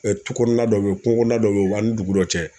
tu kɔnɔ dɔ bɛ yen kungo kɔnɔna dɔ bɛ yen o b'an ni dugu dɔ cɛ